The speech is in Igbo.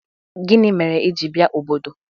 Gini mere i ji bia obodo?